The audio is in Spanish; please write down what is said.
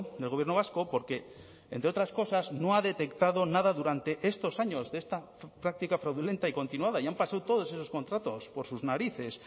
del gobierno vasco porque entre otras cosas no ha detectado nada durante estos años de esta práctica fraudulenta y continuada y han pasado todos esos contratos por sus narices